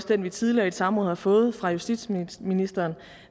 den vi tidligere i et samråd har fået fra justitsministeren